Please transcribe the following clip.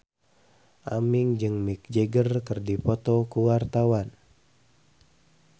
Aming jeung Mick Jagger keur dipoto ku wartawan